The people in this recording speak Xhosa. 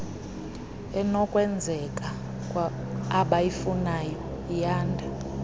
enokwenzeka abayifunayo iyanda